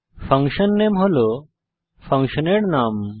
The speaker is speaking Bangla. fun নামে হল ফাংশনের নাম